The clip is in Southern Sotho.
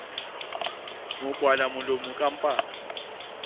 mo kwala molomo ka mpama